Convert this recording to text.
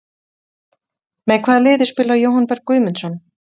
Með hvaða liði spilar Jóhann Berg Guðmundsson?